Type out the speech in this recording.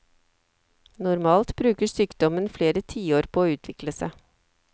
Normalt bruker sykdommen flere tiår på å utvikle seg.